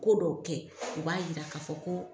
Ko dɔw kɛ, o b'a yira k'a fɔ ko